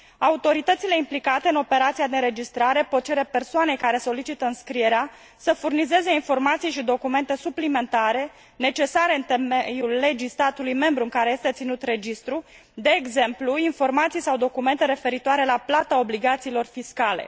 Autoritățile implicate în operația de înregistrare pot cere persoanei care solicită înscrierea să furnizeze informații și documente suplimentare, necesare în temeiul legii statului membru în care este ținut registrul, de exemplu informații sau documente referitoare la plata documentelor fiscale.